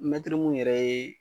Mɛtiri mun yɛrɛ ye